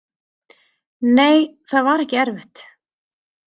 Nei, það var ekki erfitt.